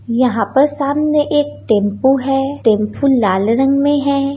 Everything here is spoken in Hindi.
यहाँ पर सामने एक टेंपू है टेंपू लाल रंग में है।